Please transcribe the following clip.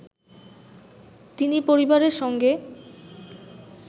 তিনি পরিবারের সঙ্গে